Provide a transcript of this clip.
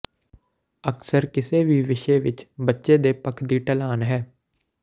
ਅਕਸਰ ਕਿਸੇ ਵੀ ਵਿਸ਼ੇ ਵਿੱਚ ਬੱਚੇ ਦੇ ਪੱਖ ਦੀ ਢਲਾਨ ਹੈ